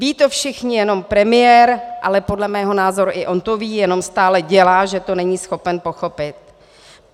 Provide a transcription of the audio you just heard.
Vědí to všichni, jenom premiér - ale podle mého názoru i on to ví, jenom stále dělá, že to není schopen pochopit.